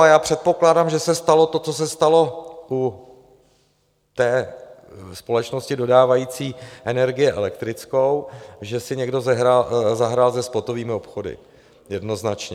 A já předpokládám, že se stalo to, co se stalo u té společnosti dodávající energii elektrickou, že si někdo zahrál se spotovými obchody, jednoznačně.